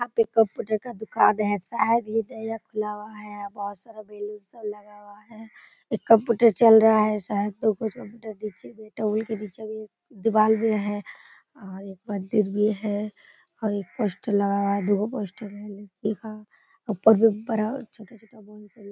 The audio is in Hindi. यहाँ पे कंप्यूटर का दुकान है शायद ये नया खुला हुआ है यहाँ बहुत सारा बेलून से सजाया हुआ है एक कंप्यूटर चल रहा है शायद दीवार में है और एक मंदिर भी है और एक पोस्टर लगा हुआ दो पोस्टर लिखा हुआ ऊपर में बड़ा और छोटा बोर्ड --